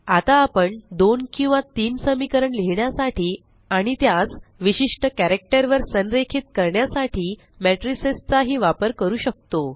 आता आपण दोन किंवा तीन समीकरण लिहिण्यासाठी आणि त्यास विशिष्ट कॅरक्टर वर संरेखित करण्यासाठी मैट्रिसेस चा ही वापर करू शकतो